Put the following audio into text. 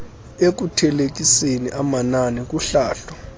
ekuthelekiseni amanani kuhlahlo